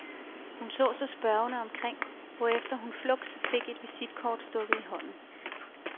Hun så sig spørgende omkring, hvorefter hun fluks fik et visitkort stukket i hånden.